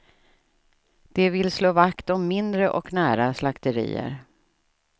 De vill slå vakt om mindre och nära slakterier.